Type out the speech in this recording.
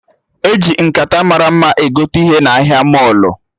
Eji nkata mara mma egote ihe n'ụlọ ahịa mọlụ